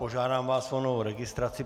Požádám vás o novou registraci.